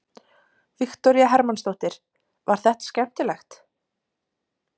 Viktoría Hermannsdóttir: Var þetta skemmtilegt?